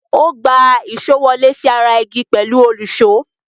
Ó gbá èṣó wọlé sí ara igi pẹ̀lú òlùṣó.